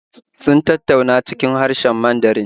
Sun tattauna cikin harshen Mandarin